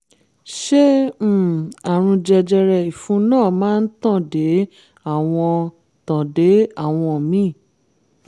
ṣé um àrùn jẹjẹrẹ ìfun náà máa tàn dé àwọn tàn dé àwọn míì?